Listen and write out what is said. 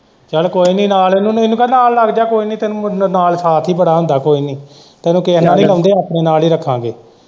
ਚੱਲ ਕੋਈ ਨੀ ਨਾਲ਼ ਇਹਨੂੰ ਕਹਿ ਨਾਲ਼ ਲੱਗ ਜਾ ਕੋਈ ਨੀ ਤੈਨੂੰ ਨਾਲ਼ ਸਾਥ ਹੀ ਬੜਾ ਹੁੰਦਾ ਕੋਈ ਨੀ ਤੈਨੂੰ ਕੇਹੇ ਨਾਲ਼ ਨੀ ਰਲ਼ਾਉਦੇ ਆਪਣੇ ਨਾਲ਼ ਹੀ ਰੱਖਾਂਗੇ।